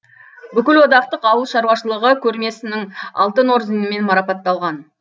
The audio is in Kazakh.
бүкілодақтық ауыл шаруашылығы көрмесінің алтын орденімен марапатталған